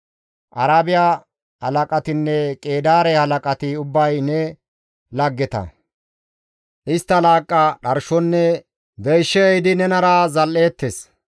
«Arabiya halaqatinne Qeedaare halaqati ubbay ne laggeta; istti laaqqa, dharshonne deyshe ehidi nenara zal7eettes.